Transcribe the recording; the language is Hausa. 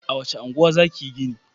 A wace unguwa za ka yi gini?